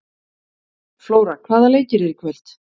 Flóra, hvaða leikir eru í kvöld?